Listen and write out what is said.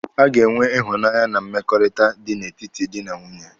A ga-enwe ịhụnanya na mmekọrịta dị n'etiti dị na nwunye.